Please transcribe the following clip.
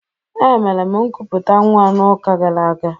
Emere m nkuputa nwa n'ụka gara aga.